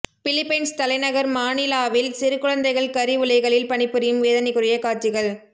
Philippines தலைநகர் மானிலாவில் சிறு குழந்தைகள் கரி உலைகளில் பணிபுரியும் வேதனைக்குறிய காட்சிகள்